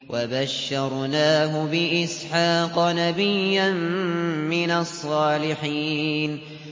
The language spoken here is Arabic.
وَبَشَّرْنَاهُ بِإِسْحَاقَ نَبِيًّا مِّنَ الصَّالِحِينَ